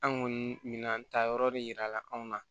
An kɔni minan ta yɔrɔ de yira la anw na